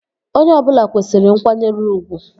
Onye ọbụla kwesịrị nkwanyere ugwu